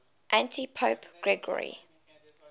antipope gregory